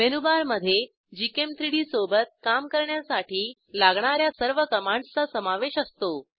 मेनूबारमधे gchem3डी सोबत काम करण्यासाठी लागणा या सर्व कमांडसचा समावेश असतो